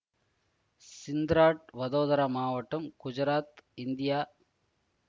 சிந்த்ராட் வதோதரா மாவட்டம் குஜராத் இந்தியா